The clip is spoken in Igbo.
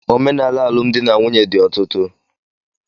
Omenaala alụmdi na nwunye di ọtụtụ.